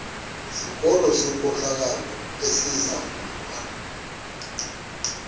sikolo senkohlakalo esizangulwa